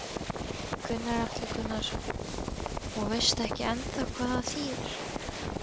Gunnar Atli Gunnarsson: Og veist ekki ennþá hvað það þýðir?